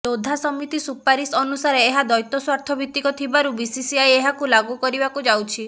ଲୋଧା ସମିତି ସୁପାରିସ ଅନୁସାରେ ଏହା ଦୈତସ୍ୱାର୍ଥ ଭିତ୍ତିକ ଥିବାରୁ ବିସିସିଆଇ ଏହାକୁ ଲାଗୁ କରିବାକୁ ଯାଉଛି